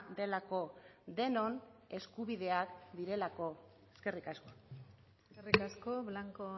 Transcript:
delako denon eskubideak direlako eskerrik asko eskerrik asko blanco